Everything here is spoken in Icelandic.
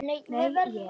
Nei, ég.